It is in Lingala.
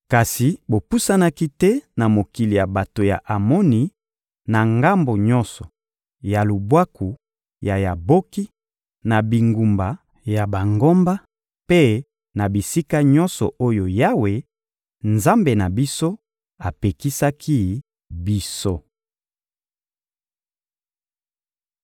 Kasi bopusanaki te na mokili ya bato ya Amoni, na ngambo nyonso ya lubwaku ya Yaboki, na bingumba ya bangomba, mpe na bisika nyonso oyo Yawe, Nzambe na biso, apekisaki biso.